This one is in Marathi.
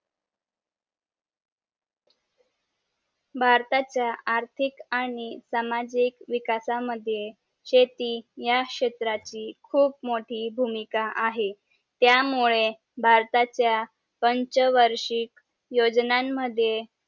भरताच्या आर्थिक आणि सामाजिक विकास मद्ये शेती या क्षेत्राची खूप मोठी भूमिका आहे त्यामुळे भारताचा पंच वर्षिक योजनान मध्ये